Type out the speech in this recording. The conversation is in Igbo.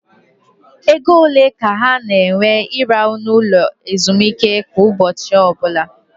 Égo ole ka ọ na ewe I rahụ na ụlọ ezumike kwa ụbọchị ọbụla?